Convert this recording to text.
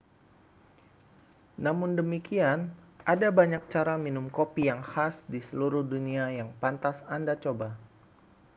namun demikian ada banyak cara minum kopi yang khas di seluruh dunia yang pantas anda coba